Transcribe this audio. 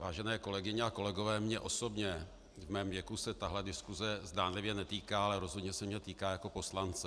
Vážené kolegyně a kolegové, mě osobně v mém věku se tahle diskuse zdánlivě netýká, ale rozhodně se mě týká jako poslance.